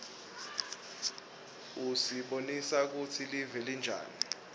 usibonisa kutsi live linjani